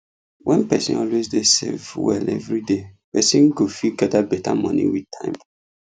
when person always dey save well every day person go fit gather better money with time